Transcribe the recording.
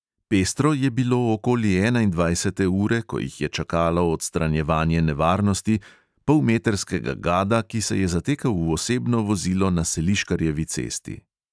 Pestro je bilo okoli enaindvajsete ure, ko jih je čakalo odstranjevanje nevarnosti – polmetrskega gada, ki se je zatekel v osebno vozilo na seliškarjevi cesti.